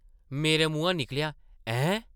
मेरे मुहां निकलेआ, ‘‘हैं?’’